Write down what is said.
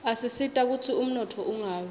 asisita kutsi umnotfo ungawi